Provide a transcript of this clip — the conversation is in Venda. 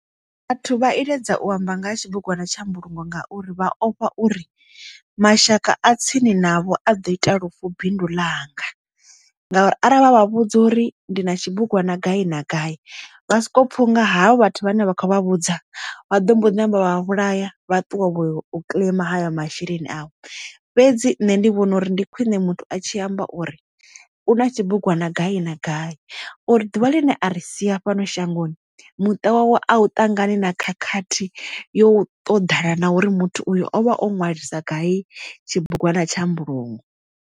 Vhathu vha iledza u amba nga ha tshibugwana tsha mbulungo ngauri vha ofha uri mashaka a tsini navho a ḓo ita lufu bindu ḽanga, ngauri arali vha vha vhudza uri ndi na tshibugwana gai na gai vha soko pfha unga havho vhathu vhane vha khou vha vhudza vha ḓo mbodzi namba vha vhulaya vha ṱuwa balelwa u claim hayo masheleni avho. Fhedzi nṋe ndi vhona uri ndi khwiṋe muthu a tshi amba uri u na tshibugwana gai uri ḓuvha ḽine a ri sia fhano shangoni muṱa wawe a u ṱangana na khakhathi yo ṱoḓana na uri muthu uyo o vha o ṅwalisa gai tshibugwana tsha mbulungo.